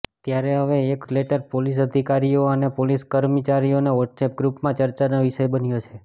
ત્યારે હવે એક લેટર પોલીસ અધિકારીઓ અને પોલીસ કર્મચારીઓના વોટ્સએપ ગ્રુપમાં ચર્ચાનો વિષય બન્યો છે